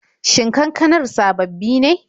Shin kankanar sababbi ne?